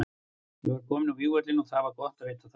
Ég var kominn á vígvöllinn og það var gott að vita það.